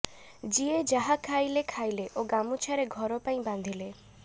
ଯିଏ ଯାହା ଖାଇଲେ ଖାଇଲେ ଓ ଗାମୁଛାରେ ଘର ପାଇଁ ବାନ୍ଧିଲେ